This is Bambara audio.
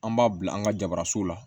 An b'a bila an ka jabaranso la